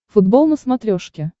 футбол на смотрешке